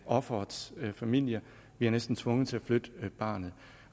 offerets familie bliver næsten tvunget til at flytte barnet